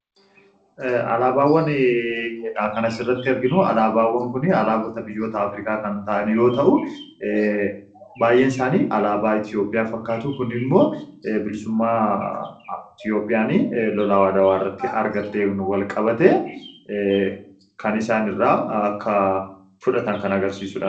Alaabaawwan kanas irratti arginu, alaabaawwan kun alaabota biyyoota Afrikaa kan ta'aan yoo ta'u baay'een isaanii alaabaa Itoophiyaa fakkaatu kun immoo bilisummaa Itoophiyaan lolaa adwaa irratti argatteen walqabate kan isaanirraa akka fudhatan kan agarsiisudha.